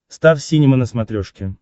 стар синема на смотрешке